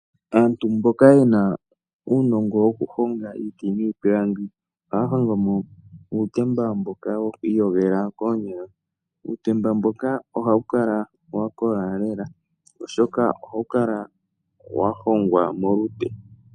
Aantu mboka yena uunongo wokuhonga iiti niipilangi, ohaya hongomo uutemba mboka wokwiiyogela koonyala. Uutemba mboka ohawu kala wakola lela, oshoka ohawu kala wahongwa molupe.